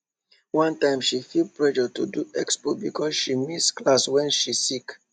one time she feel pressure to do expo because she miss class when she sick